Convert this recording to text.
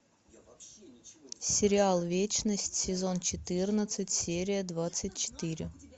сериал вечность сезон четырнадцать серия двадцать четыре